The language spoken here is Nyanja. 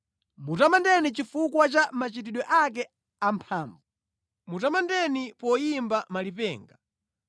Mutamandeni chifukwa cha machitidwe ake amphamvu; mutamandeni chifukwa cha ukulu wake wopambana.